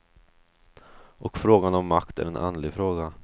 Och frågan om makt är en andlig fråga.